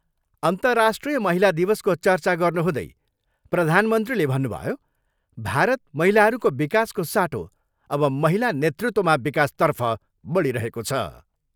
अन्तर्राष्ट्रिय महिला दिवसको चर्चा गर्नुहुँदै प्रधनमन्त्रीले भन्नुभयो, भारत महिलाहरूको विकासको साटो अब महिला नेतृत्वमा विकास तर्फ बढिरहेको छ।